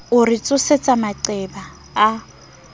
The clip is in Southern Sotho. o re tsosetsa maqeba a